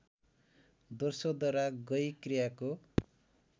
दोस्रोद्वारा गई क्रियाको